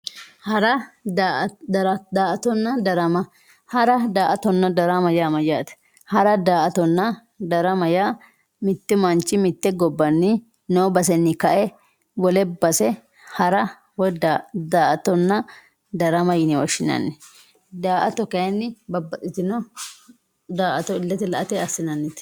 Hara daatona darama hara daatona darama ya mayate hara daatona darama ya mittu manchi mitte gobbanni no basenni kae wolle base hara woyi daatonna darama yine woshinanni daato kayinni babaxitino daato ilete laate asinanite